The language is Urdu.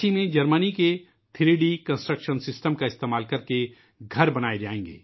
جرمنی کے تھری ڈی کنسٹرکشن سسٹم کا استعمال کرتے ہوئے رانچی میں مکانات تعمیر کئے جائیں گے